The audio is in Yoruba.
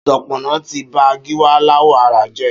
Ṣọpọnọ ti bà Giwa làwọ̀ àrà jẹ